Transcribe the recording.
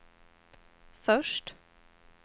först